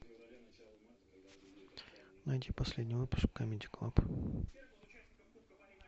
найди последний выпуск камеди клаб